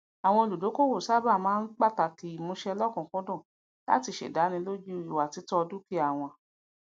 àwọn olùdókòwò sáábà máa ń pàtàkì ìmúsẹ lọkùnkúndùn latí se dánilójú ìwàtítọ dúkìá wọn